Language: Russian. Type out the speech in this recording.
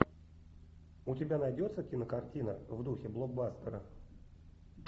у тебя найдется кинокартина в духе блокбастера